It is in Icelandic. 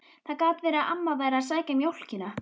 Það gat verið að amma væri að sækja mjólkina.